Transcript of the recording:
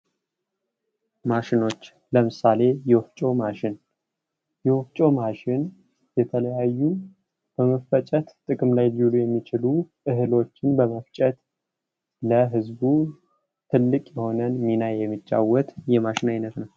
ማሸኖች ለምሳሌ የወፍጮ ማሽን የወፍጮ ማሽን የተለያዩ በመፈጨት ጥቅም ላይ ሊውሉ የሚችሉ እህሎችን በመፍጨት ለህዝቡ ትልቅ የሆነ ሚና የሚጫወት የማሽን አይነት ነው ::